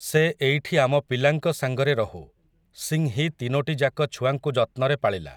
ସେ ଏଇଠି ଆମ ପିଲାଙ୍କ ସାଙ୍ଗରେ ରହୁ, ସିଂହୀ ତିନୋଟିଯାକ ଛୁଆଙ୍କୁ ଯତ୍ନରେ ପାଳିଲା ।